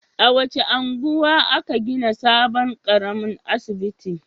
A wace unguwa aka gina sabon ƙaramin asibiti?